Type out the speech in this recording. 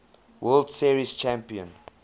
world series champion